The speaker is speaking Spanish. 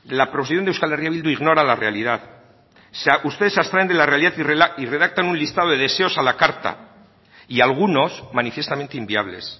la proposición de euskal herria bildu ignora la realidad ustedes se abstraen de la realidad y redactan un listado de deseos a la carta y algunos manifiestamente inviables